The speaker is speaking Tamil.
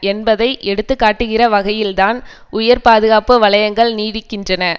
என்பதை எடுத்து காட்டுகிற வகையில்தான் உயர் பாதுகாப்பு வலையங்கள் நீடிக்கின்றன